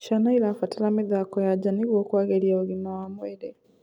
Ciana irabatara mithako ya njaa nĩguo kuagirĩa ũgima wa mwĩrĩ